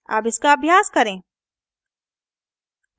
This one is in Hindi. अब इसका अभ्यास करें